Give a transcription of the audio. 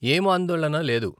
ఏం ఆందోళన లేదు.